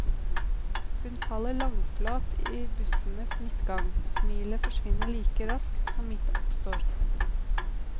Hun faller langflat i bussens midtgang, smilet forsvinner like raskt som mitt oppstår.